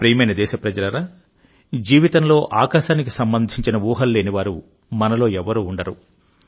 నా ప్రియమైన దేశప్రజలారా జీవితంలో ఆకాశానికి సంబంధించిన ఊహలు లేని వారు మనలో ఎవ్వరూ ఉండరు